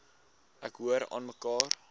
ek hoor aanmekaar